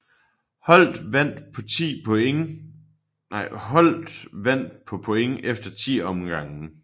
Holdt vandt på point efter 10 omgange